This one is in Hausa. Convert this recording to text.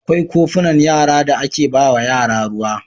Akwai kofunan yara da ake ba wa yara ruwa.